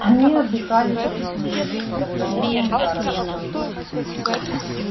они отдыхали шесть месяцев с сохранением заработка